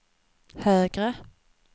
högre